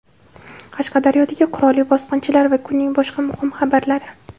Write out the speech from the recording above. Qashqadaryodagi qurolli bosqinchilar va kunning boshqa muhim xabarlari.